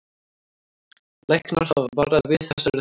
Læknar hafa varað við þessari þróun